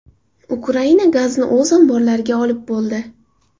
Ukraina gazni o‘z omborlariga olib bo‘ldi.